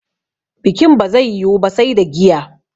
Bikin ba zai yiwu ba sai da giya